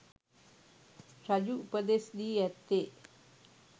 රජු උපදෙස් දී ඇත්තේ